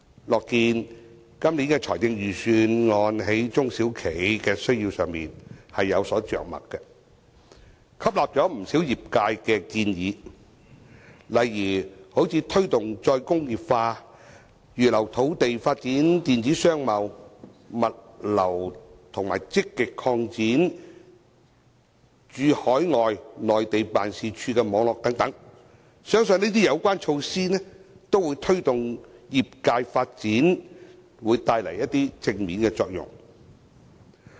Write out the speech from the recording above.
樂見本年的財政預算案在中小企的需要上有所着墨，吸納不少業界建議，例如推動再工業化、預留土地發展電子商貿、物流，以及積極擴展駐海外及內地辦事處的網絡等，相信這些相關措施都會在推動業界發展方面帶來一些正面作用。